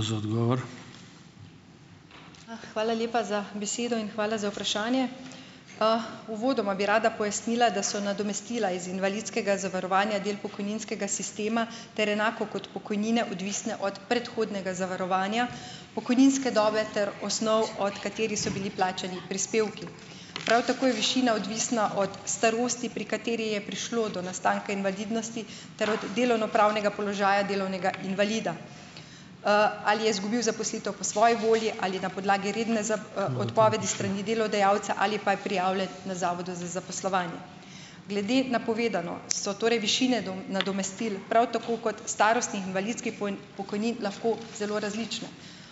A, hvala lepa za besedo in hvala za vprašanje. Uvodoma bi rada pojasnila, da so nadomestila iz invalidskega zavarovanja del pokojninskega sistema ter enako kot pokojnine odvisne od predhodnega zavarovanja, pokojninske dobe ter osnov, od katerih so bili plačani prispevki. Prav tako je višina odvisna od starosti, pri kateri je prišlo do nastanka invalidnosti ter od delovnopravnega položaja delovnega invalida. Ali je izgubil zaposlitev po svoji volji ali na podlagi redne za, odpovedi s strani delodajalca ali pa je prijavljen na zavodu za zaposlovanje. Glede na povedano so torej višine nadomestil prav tako kot starostnih invalidskih pokojnin lahko zelo različne.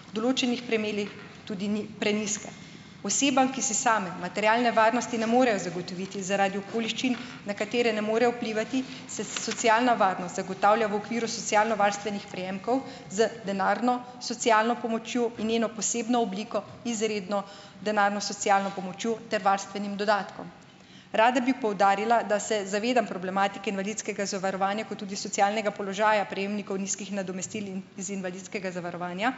V določenih primerih, tudi prenizke. Osebam, ki si same materialne varnosti ne morejo zagotoviti zaradi okoliščin, na katere ne morejo vplivati, se, socialna varnost zagotavlja v okviru socialnovarstvenih prejemkov z denarno socialno pomočjo in njeno posebno obliko izredno denarno socialno pomočjo ter varstvenim dodatkom. Rada bi poudarila, da se zavedam problematike invalidskega zavarovanja kot tudi socialnega položaja prejemnikov nizkih nadomestil in iz invalidskega zavarovanja.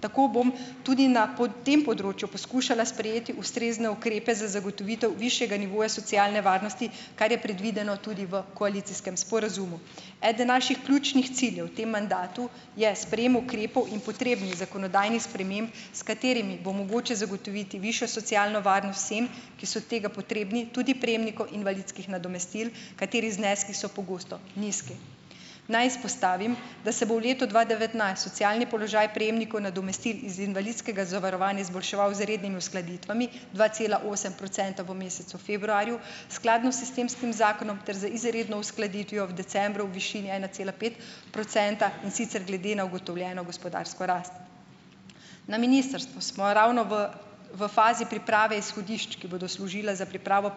Tako bom tudi na tem področju poskušala sprejeti ustrezne ukrepe za zagotovitev višjega nivoja socialne varnosti, kar je predvideno tudi v koalicijskem sporazumu. Eden naših ključnih ciljev v tem mandatu je sprejem ukrepov in potrebnih zakonodajnih sprememb, s katerimi bo mogoče zagotoviti višjo socialno varnost vsem, ki so tega potrebni, tudi prejemnikov invalidskih nadomestil, katerih zneski so pogosto nizki. Naj izpostavim, da se bo v letu dva devetnajst socialni položaj prejemnikov nadomestil iz invalidskega zavarovanja izboljševal z rednimi uskladitvami, dva cela osem procenta v mesecu februarju, skladno s sistemskim zakonom ter z izredno uskladitvijo v decembru v višini ena cela pet procenta, in sicer glede na ugotovljeno gospodarsko rast. Na ministrstvu smo ravno v v fazi priprave izhodišč, ki bodo služila za pripravo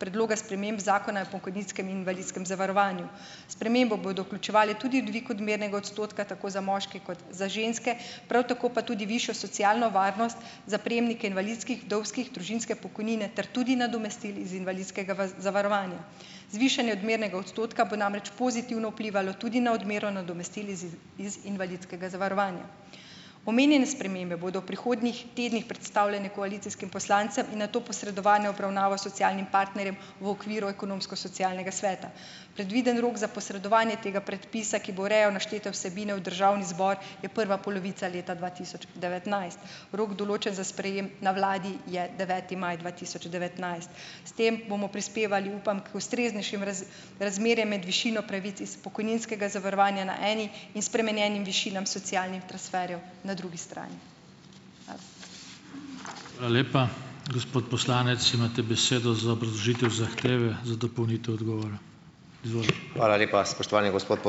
predloga sprememb zakona o pokojninskem in invalidskem zavarovanju. Spremembo bodo vključevale tudi dvig odmernega odstotka tako za moške kot za ženske, prav tako pa tudi višjo socialno varnost za prejemnike invalidskih, vdovskih, družinske pokojnine ter tudi nadomestil iz invalidskega zavarovanja. Zvišanje odmernega odstotka bo namreč pozitivno vplivalo tudi na odmero nadomestil iz i iz invalidskega zavarovanja. Omenjene spremembe bodo v prihodnjih tednih predstavljene koalicijskim poslancem in nato posredovane v obravnavo socialnim partnerjem v okviru ekonomsko-socialnega sveta. Predviden rok za posredovanje tega predpisa, ki bo urejal naštete vsebine, v državni zbor je prva polovica leta dva tisoč devetnajst. Rok določen za sprejem na vladi je deveti maj dva tisoč devetnajst. S tem bomo prispevali, upam, k ustreznejšim razmerje med višino pravic iz pokojninskega zavarovanja na eni in spremenjenimi višinami socialnih transferjev na drugi strani. Hvala.